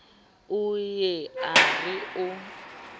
o ye a re o